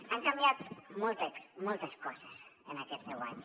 han canviat moltes coses en aquests deu anys